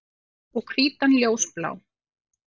Og hvítan ljósblá.